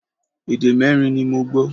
Èdè mẹ́rin ni mo gbọ́